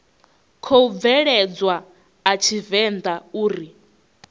khou bveledzwa a tshivenḓa uri